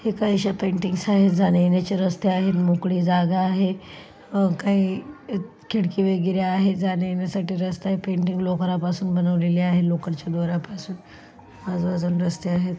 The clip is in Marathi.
ही काहीशी पेंटिंग्स आहेत. जाण्यायेण्याचे रस्ते आहेत. मोकळी जागा आहे. अह काही खिडकी वगैरे आहे. जाण्यायेण्यासाठी रस्ते आहे. पेंटिंग लोकरा पासून बनवलेले आहे. लोकरच्या दोरापासुन आजुबाजुने रस्ते आहेत.